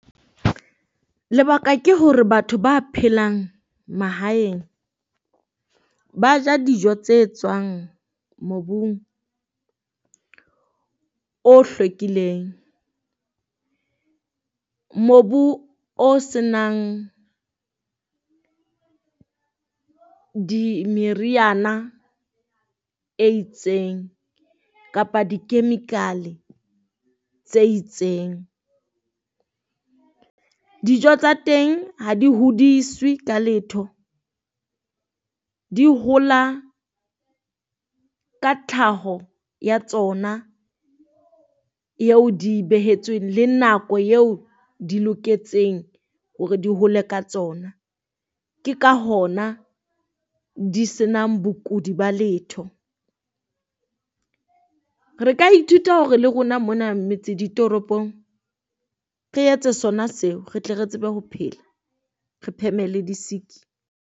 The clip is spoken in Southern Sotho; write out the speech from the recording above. Lebaka ke hore batho ba phelang mahaeng ba ja dijo tse tswang mobung o hlwekileng, mobu o senang di meriana e itseng, kapa di chemical tse itseng. Dijo tsa teng ha di hodiswe ka letho, di hola ka tlhaho ya tsona eo di e behetsweng le nako eo di loketseng hore di hole ka tsona. Ke ka hona di senang bokodi ba letho. Re ka ithuta hore le rona mona metseditoropong, re etse sona seo re tle re tsebe ho phela re pheme le di sick.